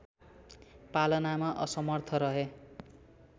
पालनमा असमर्थ रहे